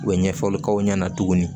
U bɛ ɲɛfɔli k'aw ɲɛna tuguni